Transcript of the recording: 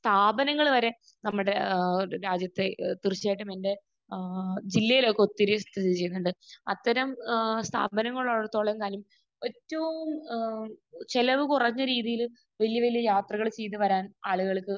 സ്ഥാപനങ്ങൾ വരെ നമ്മുടെ ഏഹ് രാജ്യത്ത് തീർച്ചയായിട്ടുമുണ്ട്. ഏഹ് ജില്ലയിലൊക്കെ ഒത്തിരി സ്ഥിതി ചെയ്യുന്നുണ്ട്. അത്തരം ഏഹ് സ്ഥാപനങ്ങൾ ഉള്ളിടത്തോളം കാലം ഏറ്റവും ഏഹ് ചിലവ് കുറഞ്ഞ രീതിയിൽ വലിയ വലിയ യാത്രകൾ ചെയ്ത് വരാൻ ആളുകൾക്ക്